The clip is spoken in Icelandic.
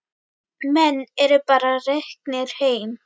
Menn eru bara reknir heim.